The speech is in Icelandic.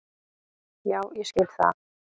Já ég skil það.